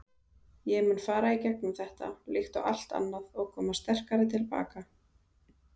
Ég mun fara í gegnum þetta, líkt og allt annað og koma sterkari til baka.